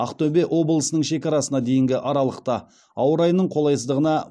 ақтөбе облысының шекарасына дейінгі аралықта ауа райының қолайсыздығына